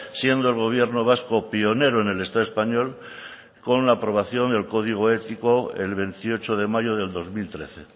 siendo el gobierno vasco pionero en el estado español con la aprobación del código ético el veintiocho de mayo del dos mil trece